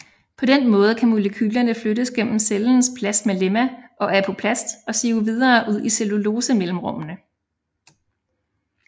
På den måde kan molekylerne flyttes gennem cellens plasmalemma og apoplast og sive videre ud i cellulosemellemrummene